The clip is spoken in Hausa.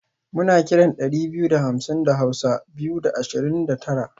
muna kiran dari biyu da hamsin da hausa (Biyu da Ashirin da Tara)